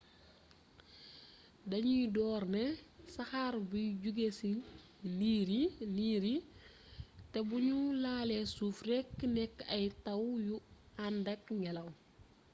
dañuy door ne saxaar buy jóge cii ndiir yi te bu ñu laalee suuf rekk nekk ay taw yu àndak ngelaw